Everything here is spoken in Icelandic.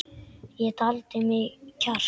Ég taldi í mig kjark.